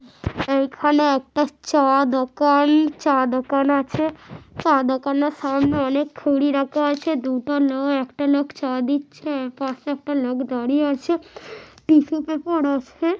এখানে একটা চা দোকান-অ চা দোকান আছে । চা দোকানের সামনে অনেক খুরী রাখা আছে দুটো না একটা না চা দিচ্ছে একা একটা লোক দাঁড়িয়ে আছে টিসু পেপার আছে।